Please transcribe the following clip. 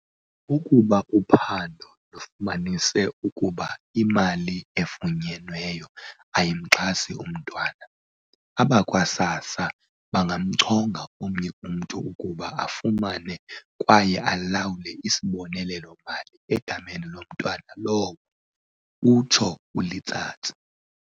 "Ukuba uphando lufumanise ukuba imali efunyenweyo ayimxhasi umntwana, abakwa-SASSA bangamchonga omnye umntu ukuba afumane kwaye alawule isibonelelo-mali egameni lomntwana lowo," utsho uLetsatsi.